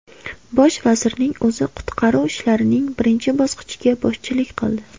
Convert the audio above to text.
Bosh vazirning o‘zi qutqaruv ishlarining birinchi bosqichiga boshchilik qildi.